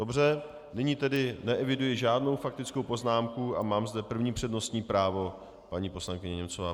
Dobře, nyní tedy neeviduji žádnou faktickou poznámku a mám zde první přednostní právo, paní poslankyně Němcová.